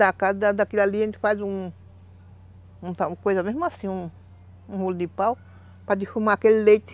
E da casa, da daquilo ali, a gente faz um um... coisa mesmo assim, um um rolo de pau, para defumar aquele leite.